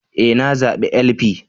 E! Na zabi LP